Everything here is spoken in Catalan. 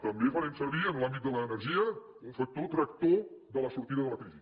també farem servir en l’àmbit de l’energia un factor tractor de la sortida de la crisi